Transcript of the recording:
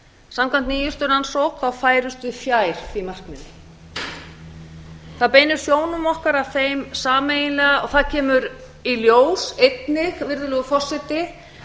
samkvæmt nýjustu rannsókn færumst við fjær því markmiði það beinir sjónum okkar að þeim sameiginlega og það kemur í ljós einnig virðulegur forseti